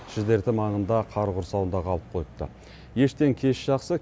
шідерті маңында қар құрсауында қалып қойыпты ештен кеш жақсы